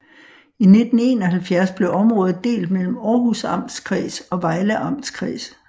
I 1971 blev området delt mellem Århus Amtskreds og Vejle Amtskreds